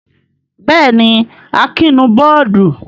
Bẹ́ẹ̀ jí, Akin bù bọ́ọ́dù.